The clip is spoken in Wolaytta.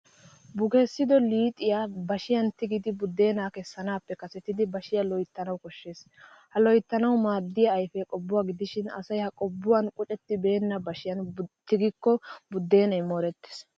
Bukeessido liixiya bashiyan tigidi buddeenaa kessanaappe kasetidi bashiya loyittanawu koshshes. Ha loyttanawu maaddiya ayfee qobbuwa gidishin asay ha qobbuwan qucettibeenna bashiyan tigikko budeenay moorettes.